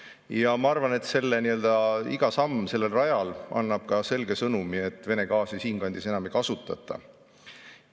Ja ma arvan, et nii-öelda iga samm sellel rajal annab selge sõnumi, et Vene gaasi siinkandis enam ei kasutata.